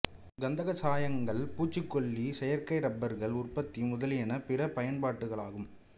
கந்தகச் சாயங்கள் பூச்சிக்கொல்லிகள் செயற்கை ரப்பர்கள் உற்பத்தி முதலியன பிற பயன்பாடுகளாகும்